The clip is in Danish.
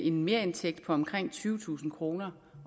en merindtægt på omkring tyvetusind kroner